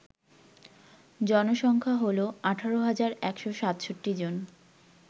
জনসংখ্যা হল ১৮১৬৭ জন